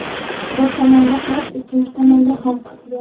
Bir tomonda qarz, ikkinchi tomonda xalq.